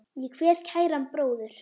Ég kveð kæran bróður.